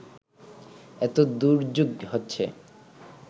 এতো দুর্যোগ হচ্ছে